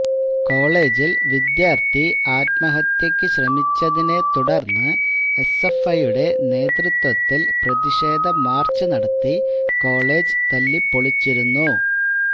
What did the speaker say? കോളെജില് വിദ്യാര്ത്ഥി ആത്മഹത്യയ്ക്ക് ശ്രമിച്ചതിനെ തുടര്ന്ന് എസ്എഫ്ഐയുടെ നേതൃത്വത്തില് പ്രതിഷേധ മാര്ച്ച് നടത്തി കോളെജ് തല്ലിപ്പൊളിച്ചിരുന്നു